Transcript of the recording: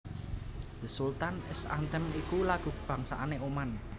The Sultan s Anthem iku lagu kabangsané Oman